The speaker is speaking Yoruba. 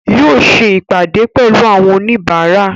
Yóò ṣe ìpàdé pẹ̀lú àwọn oníbàárà